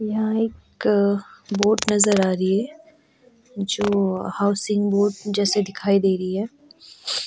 यहाँ एक बोट नजर आ रही है जो हॉउसिंग बोट जैसे दिखाई दे रही है।